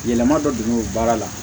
Yɛlɛma dɔ de bɛ baara la